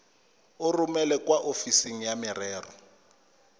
romele kwa ofising ya merero